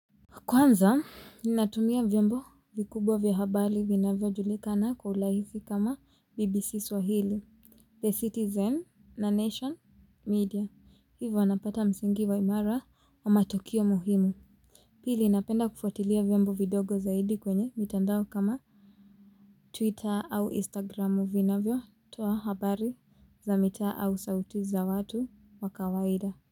Kwanza, ninatumia vyombo vikubwa vya habari vina vyo julikana kwa ulaizi kama BBC Swahili, The Citizen na Nation Media. Hivyo wanapata msingi wa imara wa matokeo muhimu. Pili, napenda kufuatilia vyombo vidogo zaidi kwenye mitandao kama Twitter au Instagramu vina vyo toa habari za mitaa au sauti za watu wa kawaida.